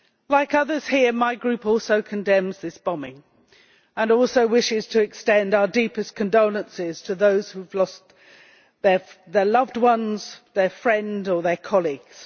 Like others here, my Group also condemns this bombing and also wishes to extend our deepest condolences to those who have lost their loved ones, their friends or their colleagues.